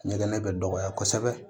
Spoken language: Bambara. Ɲɛgɛn bɛ dɔgɔya kosɛbɛ